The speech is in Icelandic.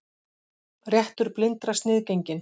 Réttur blindra sniðgenginn